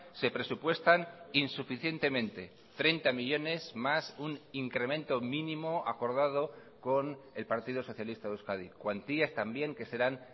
se presupuestan insuficientemente treinta millónes más un incremento mínimo acordado con el partido socialista de euskadi cuantías también que serán